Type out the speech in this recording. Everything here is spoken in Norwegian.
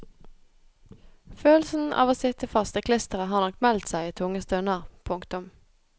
Følelsen av å sitte fast i klisteret har nok meldt seg i tunge stunder. punktum